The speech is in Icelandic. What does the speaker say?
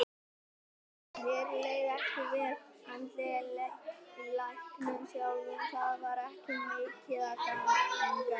Mér leið ekki vel andlega í leiknum sjálfum, það var ekki mikið að ganga upp.